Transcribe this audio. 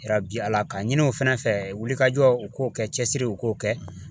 Ala ka ɲini u fɛnɛ fɛ wulikajɔ u k'o kɛ cɛsiri u k'o kɛ.